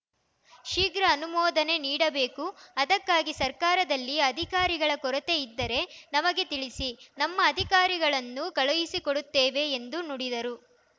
ಶೀಘ್ರ ಅನುಮೋದನೆ ನೀಡಬೇಕು ಅದಕ್ಕಾಗಿ ಸರ್ಕಾರದಲ್ಲಿ ಅಧಿಕಾರಿಗಳ ಕೊರತೆ ಇದ್ದರೆ ನಮಗೆ ತಿಳಿಸಿ ನಮ್ಮ ಅಧಿಕಾರಿಗಳನ್ನು ಕಳುಹಿಸಿಕೊಡುತ್ತೇವೆ ಎಂದು ನುಡಿದರು